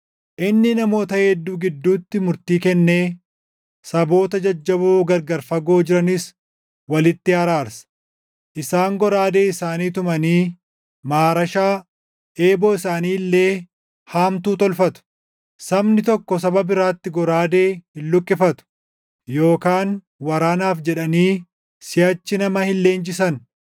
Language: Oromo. Inni namoota hedduu gidduutti murtii kennee saboota jajjaboo gargar fagoo jiranis walitti araarsa. Isaan goraadee isaanii tumanii maarashaa, eeboo isaanii illee haamtuu tolfatu. Sabni tokko saba biraatti goraadee hin luqqifatu yookaan waraanaaf jedhanii siʼachi nama hin leenjisan.